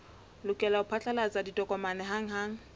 lokela ho phatlalatsa ditokomane hanghang